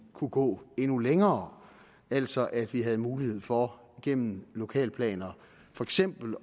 kunne gå endnu længere altså at vi havde mulighed for gennem lokalplaner for eksempel